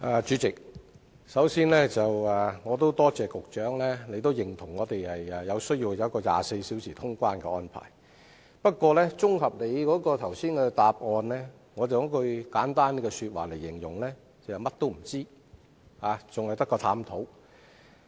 主席，我首先感謝局長也認同香港需要實施24小時的通關安排，但局長剛才的答覆，我卻可以簡單概括為"除探討外，甚麼都不知道。